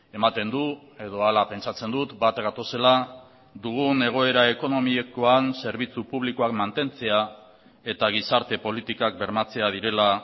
ematen du edo hala pentsatzen dut bat gatozela dugun egoera ekonomikoan zerbitzu publikoak mantentzea eta gizarte politikak bermatzea direla